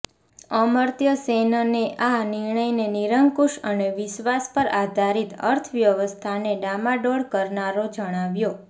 અમર્ત્ય સેનનેઆ નિર્ણયને નિરંકુશ અને વિશ્વાસ પર આધારિત અર્થવ્યવસ્થાને ડામાડોળ કરનારો જણાવ્યો